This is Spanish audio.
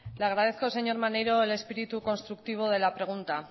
le agradezco señor maneiro el espíritu constructivo de la pregunta